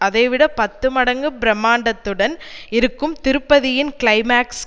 அதைவிட பத்து மடங்கு பிரமாண்டத்துடன் இருக்கும் திருப்பதியின் க்ளைமாக்ஸ்